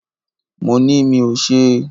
Mo ni mí ò ṣe.